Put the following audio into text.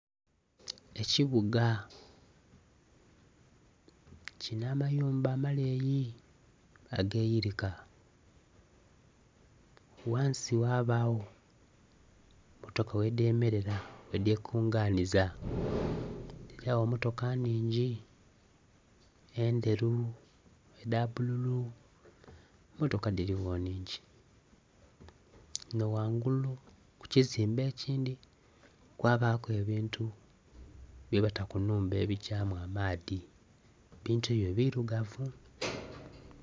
Ekibuga kilinha amayumba amaleeyi age yilika ghansi ghabagho motoka ghe dhemerera ghe dhe kunganhiza dhilyagho motoka nnhingi endheru edha bbululu motoka dhili gho nnhingi. Nga ghangulu ku kizimbe ekindhi kwabaku ebintu bye bata ku nhumba ebigyamu amaadhi, ebintu ebyo birugavu.